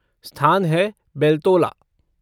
स्थान है बेलतोला।